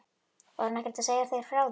Var hún ekkert að segja þér frá því?